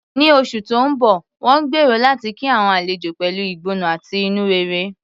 Ní oṣù tó ń bọ̀, wọ́n gbèrò láti kí àwọn àlejò pẹ̀lú ìgbóná àti inú rere.